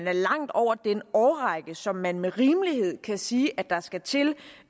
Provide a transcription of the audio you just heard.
er langt over den årrække som man med rimelighed kan sige at der skal til